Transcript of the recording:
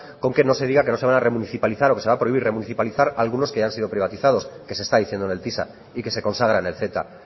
con que no se diga que no se van a remunicipalizar o que se va a prohibir remunicipalizar algunos que ya han sido privatizados que se está diciendo en el tisa y que consagra en el ceta